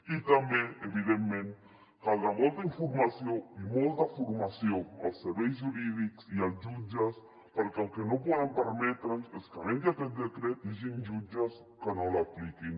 i també evidentment caldrà molta informació i molta formació als serveis jurídics i als jutges perquè el que no podem permetre’ns és que havent hi aquest decret hi hagin jutges que no l’apliquin